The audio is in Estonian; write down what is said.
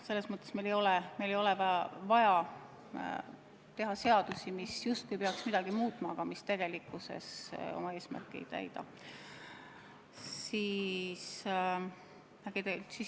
Selles mõttes meil ei ole vaja teha seadusi, mis peaks midagi muutma, aga mis tegelikkuses oma eesmärki ei täida.